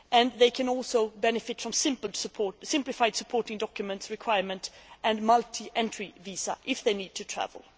They can also benefit from a simplified supporting documents requirement and a multi entry visa if they need to travel.